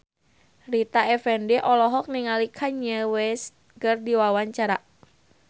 Rita Effendy olohok ningali Kanye West keur diwawancara